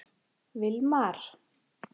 Vilmar